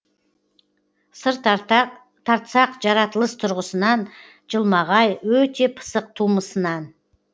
сыр тартсақ жаратылыс тұрғысынан жылмағай өте пысық тумысынан